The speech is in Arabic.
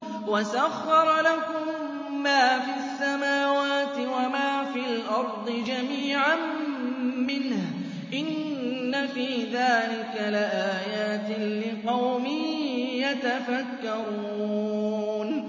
وَسَخَّرَ لَكُم مَّا فِي السَّمَاوَاتِ وَمَا فِي الْأَرْضِ جَمِيعًا مِّنْهُ ۚ إِنَّ فِي ذَٰلِكَ لَآيَاتٍ لِّقَوْمٍ يَتَفَكَّرُونَ